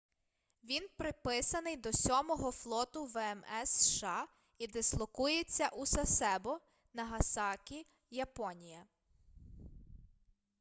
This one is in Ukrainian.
він приписаний до сьомого флоту вмс сша і дислокується у сасебо нагасакі японія